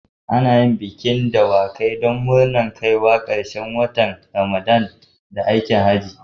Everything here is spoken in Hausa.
Ana yin bikin hawan dawakai don murnar kaiwa ƙarshen watan Ramadana da aikin Hajji.